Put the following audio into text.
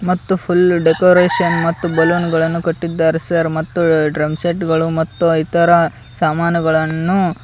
ಮತ್ತು full decoration ಮತ್ತು ಬಲೂನುಗಳನ್ನು ಕಟ್ಟಿದ್ದಾರೆ ಸರ್ ಮತ್ತು ಡ್ರಮ್ ಸೆಟ್ ಗಳು ಮತ್ತು ಇತರ ಸಾಮಾನುಗಳನ್ನು--